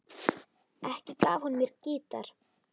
Ekki gaf hún mér gítar.